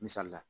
Misali la